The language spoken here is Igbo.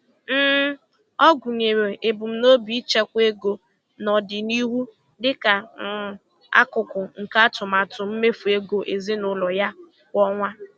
um Ọ gụnyere ebumnobi ichekwa ego n'ọdịnihu dịka um akụkụ nke atụmatụ mmefu ego ezinụlọ ya kwa ọnwa.